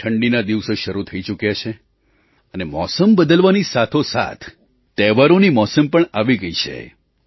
હવે ઠંડીના દિવસો શરૂ થઈ ચૂક્યા છે અને મોસમ બદલવાની સાથોસાથ તહેવારોની મોસમ પણ આવી ગઈ છે